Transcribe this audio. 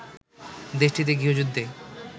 দেশটিতে গৃহযুদ্ধে